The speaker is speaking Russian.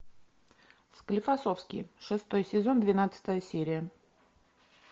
склифосовский шестой сезон двенадцатая серия